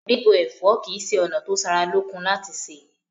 Bíbọ ẹ̀fọ́ kí ṣe ona ti o sára lókun láti ṣé